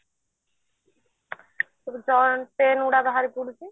joint ପାଇଁ ଗୁଡା ବାହାରି ପଡୁଛି